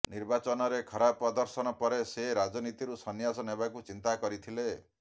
ନିର୍ବାଚନରେ ଖରାପ ପ୍ରଦର୍ଶନ ପରେ ସେ ରାଜନୀତିରୁ ସନ୍ୟାସ ନେବାକୁ ଚିନ୍ତା କରିଥିଲେ